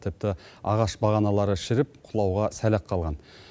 тіпті ағаш бағаналары шіріп құлауға сәл ақ қалған